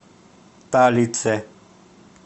талице